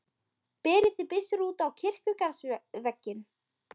Berið þið byssur út á kirkjugarðsvegginn.